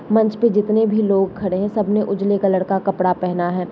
मंच पे जितने भी लोग खड़े हैं सबने उजले कलर का कपड़ा पहना है।